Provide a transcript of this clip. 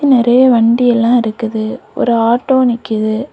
நெறைய வண்டி எல்லா இருக்குது ஒரு ஆட்டோ நிக்குது.